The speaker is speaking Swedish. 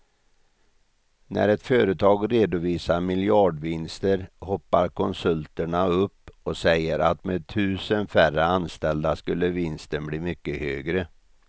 När ett företag redovisar miljardvinster hoppar konsulterna upp och säger att med tusen färre anställda skulle vinsten bli mycket högre.